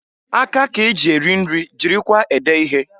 Aka k'eji eri nri jikwara ede ihe.